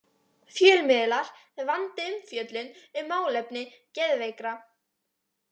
Fjölmiðlar vandi umfjöllun um málefni geðveikra